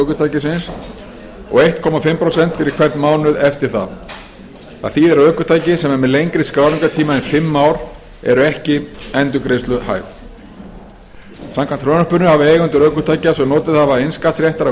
ökutækisins og eins og hálft prósent fyrir hvern mánuð eftir það af því eru ökutæki sem eru með lengri skráningartíma en fimm ár ekki endurgreiðsluhæf samkvæmt frumvarpinu hafa eigendur ökutækja sem notið hafa innskattsréttar af